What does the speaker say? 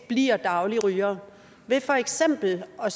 bliver dagligrygere ved for eksempel at